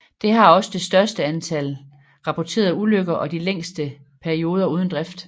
Det har også det størst antal rapporterede ulykker og de længste perioder uden drift